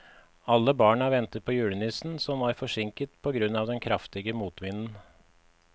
Alle barna ventet på julenissen, som var forsinket på grunn av den kraftige motvinden.